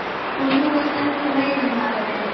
Og þú ert enn þá veiðimaðurinn.